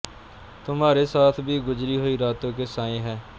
ਤੁਮਹਾਰੇ ਸਾਥ ਭੀ ਗੁਜ਼ਰੀ ਹੂਈ ਰਾਤੋਂ ਕੇ ਸਾਏ ਹੈਂ